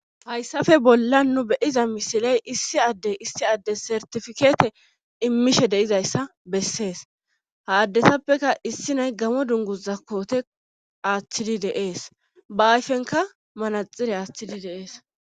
hayssafe bolla nu beyiza misiley issi addey issi addes sertifikeete immishe deizayssa bessees ha addetappeka issi nay gamo dungu zakkoote aaththidi deees ba ayfenka manaxire aaththidi de7ees